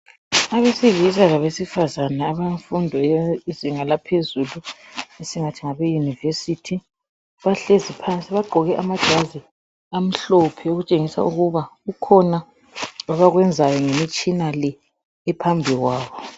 Abesilisa labesifazane abemfundo yezinga laphezulu esingathi ngabeyunivesithi bahlezi phansi bagqoke amajazi amhlophe okutshengisa ukuba kukhona abakwenzayo ngemitshina le ephambi kwabo.